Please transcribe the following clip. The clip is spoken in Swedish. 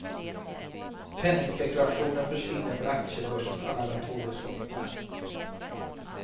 Penningspekulationen försvinner för aktiebörsens alla datorer slocknar.